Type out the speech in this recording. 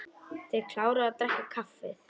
Þeir kláruðu að drekka kaffið.